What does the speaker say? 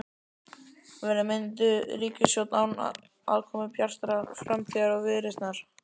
Verður mynduð ríkisstjórn án aðkomu Bjartrar framtíðar og Viðreisnar?